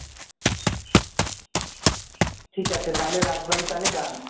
ঠিক আছে তাহলে রাজবাড়ী তাহলে ডান